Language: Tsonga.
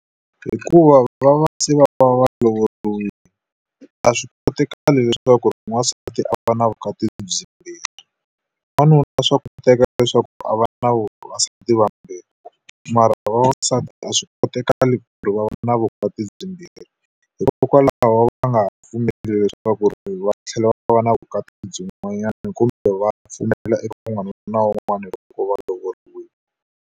Hikuva va va se va va va lovoriwile. A swi kotakali leswaku n'wansati a va na vukati byimbirhi. N'wanuna swa koteka leswaku a va na vavasati vambirhi mara a va vavasati a swi kotakali ku ri va va na vukati byi mbirhi. Hikokwalaho va nga ha pfumeli leswaku ku ri va tlhela va va na vukati byin'wanyana kumbe va pfumelela eka wun'wana na wun'wana loko va lovoriwile.